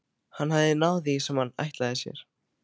Hann hafði náð því sem hann ætlaði sér.